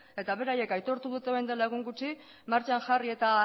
eta beraiek aitortu dute orain dela egun gutxi martxan jarri eta